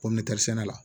Ko mɛtɛrisɛnɛ la